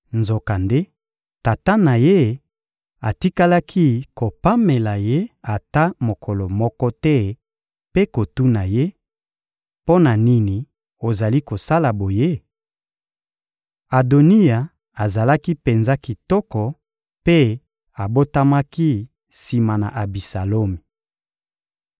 Nzokande, tata na ye atikalaki kopamela ye ata mokolo moko te mpe kotuna ye: «Mpo na nini ozali kosala boye?» Adoniya azalaki penza kitoko mpe abotamaki sima na Abisalomi.